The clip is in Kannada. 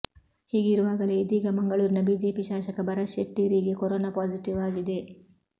ಹೀಗಿರುವಾಗಲೇ ಇದೀಗ ಮಂಗಳೂರಿನ ಬಿಜೆಪಿ ಶಾಸಕ ಭರತ್ ಶೆಟ್ಟಿ ರಿಗೆ ಕೊರೊನಾ ಪಾಸಿಟಿವ್ ಆಗಿದೆ